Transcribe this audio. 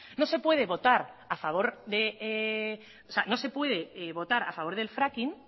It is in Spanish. no se puede votar a favor del fracking